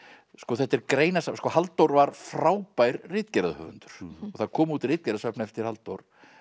þetta er greinasafn sko Halldór var frábær ritgerðahöfundur það kom út ritgerðasafn eftir Halldór